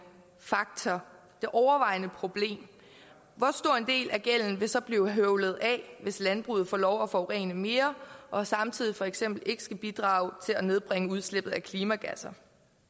faktor det overvejende problem hvor stor en del af gælden vil så blive høvlet af hvis landbruget får lov at forurene mere og samtidig for eksempel ikke skal bidrage til at nedbringe udslippet af klimagasser